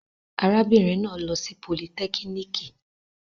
Arábìnrin náà lọ sí polytechnic.